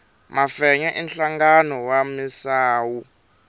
mafenya i nhlangano wa misawu